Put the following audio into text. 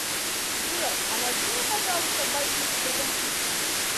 сбер а найди мне пожалуйста боевик с брэдом питтом